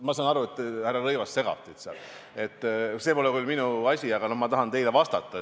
Ma saan aru, et härra Rõivas segab teid seal, see pole küll minu asi, aga ma tahan praegu siiski teile vastata.